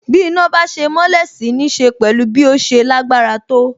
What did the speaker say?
Bí iná bá ṣe mọ́lẹ̀ sì nííṣe pẹ̀lú bí ó ṣe lágbára tó.